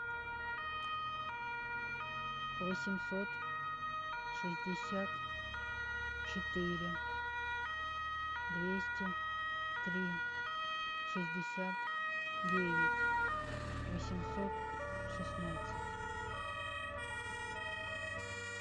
восемьсот шестьдесят четыре двести три шестьдесят девять восемьсот шестнадцать